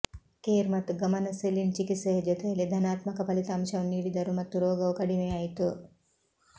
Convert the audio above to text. care ಮತ್ತು ಗಮನ saline ಚಿಕಿತ್ಸೆಯ ಜೊತೆಯಲ್ಲಿ ಧನಾತ್ಮಕ ಫಲಿತಾಂಶವನ್ನು ನೀಡಿದರು ಮತ್ತು ರೋಗವು ಕಡಿಮೆಯಾಯಿತು